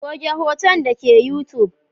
Goge hoton dake youtube.